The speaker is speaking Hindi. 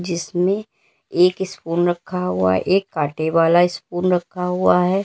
इसमें एक स्पून रखा हुआ है एक कांटे वाला स्पून रखा हुआ है।